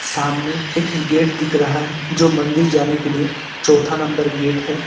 सामने एक गेट दिख रहा है जो मंदिर जाने के लिए चौथा नंबर गेट है।